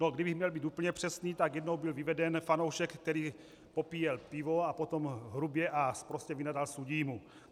No, kdybych měl být úplně přesný, tak jednou byl vyveden fanoušek, který popíjel pivo a potom hrubě a sprostě vynadal sudímu.